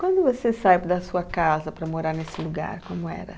Quando você saiu da sua casa para morar nesse lugar, como era?